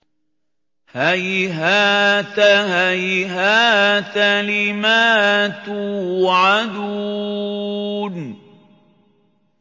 ۞ هَيْهَاتَ هَيْهَاتَ لِمَا تُوعَدُونَ